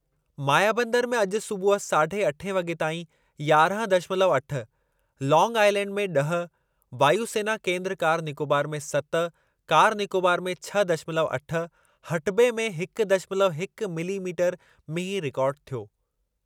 मायाबंदर में अॼु सूबुह साढ़े अठे वॻे ताईं यारहं दशमलव अठ, लांग आइलैंड में ॾह, वायु सेना केन्द्र कार निकोबार में सत कार निकोबार में छह दशमलव अठ, हटबे में हिक दशमलव हिक मिलीमीटर मींहुं रिकार्ड थियो।